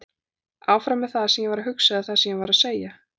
Áfram með það sem ég er að hugsa eða það sem ég var að segja?